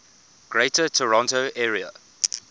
greater toronto area